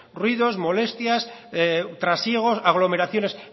ruidos molestias trasiegos aglomeraciones